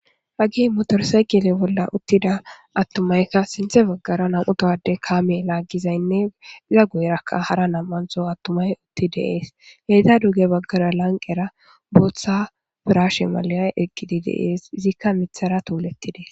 hagi motorsayqile bolla uttida attumaykka sinthe baggara nam7utawade kaame laaggizaynne iza goyrakka hara nam7anzo attumay utti deees heeta duge baggara lanqera booththa pirashe mala7ay eqqidi deees izikka mithara tuulettidee